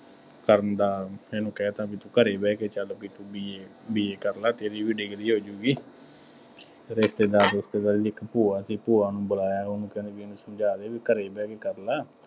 ਕਰਨ ਦਾ ਇਹਨੂੰ ਕਹਿ ਤਾ ਬਈ ਤੂੰ ਘਰੇ ਬਹਿ ਕੇ ਚੱਲ ਬਈ ਤੂੰ ਈਂ b BA ਕਰ ਲਾ, ਫੇਰ ਇਹ ਵੀ ਡਿਗਰੀ ਹੋ ਜਾਊਗੀ, ਰਿਸ਼ਤੇਦਾਰ ਰਿਸ਼ੇਤਦਾਰੀ ਚ ਇੱਕ ਭੂਆ ਸੀ, ਭੂਆ ਨੂੰ ਬੁਲਾਇਆ, ਉਹਨੂੰ ਕਹਿੰਦੇ ਬਈ ਤੂੰ ਇਹਨੂੰ ਸਮਝਾ ਦੇ ਬਈ ਘਰੇ ਬਹਿ ਕੇ ਕਰ ਲੈ,